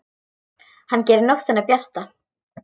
Hann gerir nóttina bjarta.